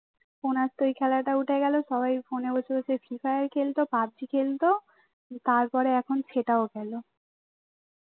ফোনে আস্তে ওই খেলাটা উঠে গেল সবাই ফোনে free fire খেলত pub G খেলত তারপরে আখন সেটাও গেল